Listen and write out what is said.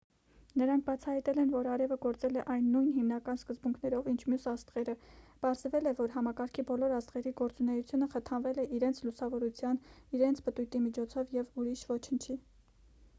նրանք բացահայտել են որ արևը գործել է այն նույն հիմնական սկզբունքներով ինչ մյուս աստղերը պարզվել է որ համակարգի բոլոր աստղերի գործունեությունը խթանվել է իրենց լուսավորության իրենց պտույտի միջոցով և ուրիշ ոչնչի